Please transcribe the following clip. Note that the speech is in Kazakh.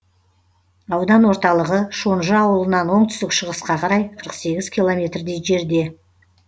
аудан орталығы шонжы ауылынан оңтүстік шығысқа қарай қырық сегіз километрдей жерде